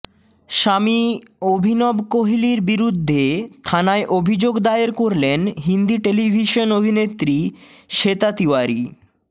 স্বামী অভিনব কোহলির বিরুদ্ধে থানায় অভিযোগ দায়ের করলেন হিন্দি টেলিভিশন অভিনেত্রী শ্বেতা তিওয়ারি